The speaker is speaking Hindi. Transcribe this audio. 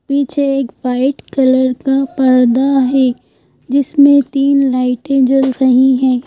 पीछे एक व्हाइट कलर का पर्दा है जिसमें तीन लाइटें जल रही हैं।